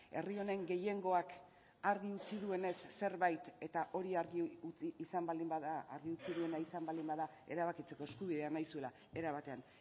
herri honen gehiengoak argi utzi duenez zerbait eta hori argi utzi izan baldin bada argi utzi duena izan baldin bada erabakitzeko eskubidea nahi zuela era batean